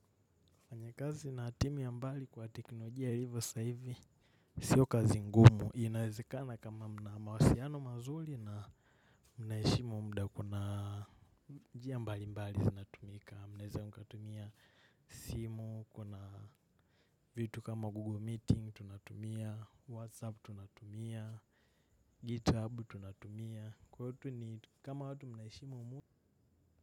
Ni kazi na timu ya mbali kwa teknolojia ilivyo sasa hivi. Sio kazi ngumu. Inawezekana kama mna mawasiliano mazuri na mnaheshimu muda, kuna njia mbalimbali zinatumika, mnawezeka mkatumia simu, kuna vitu kama Google meeting tunatumia, Whatsapp tunatumia, GitHub tunatumia. Kwahio tu ni kama watu mnaheshimu muda.